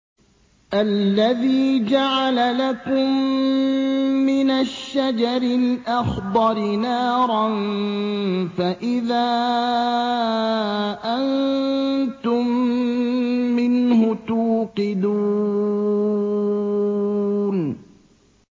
الَّذِي جَعَلَ لَكُم مِّنَ الشَّجَرِ الْأَخْضَرِ نَارًا فَإِذَا أَنتُم مِّنْهُ تُوقِدُونَ